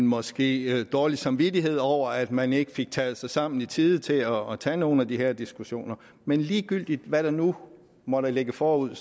måske dårlig samvittighed over at man ikke fik taget sig sammen i tide til at tage nogle af de her diskussioner men ligegyldigt hvad der nu måtte ligge forude